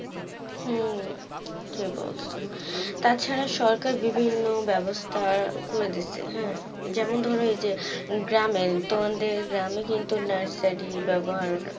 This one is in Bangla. উম ঠিকি বলছো, তাছাড়া সরকার বিভিন্ন ব্যবস্থা করে দিচ্ছে হ্যাঁ যেমন ধর এইযে, গ্রামে তোমাদের গ্রামে কিন্তু নার্সারি ব্যবহার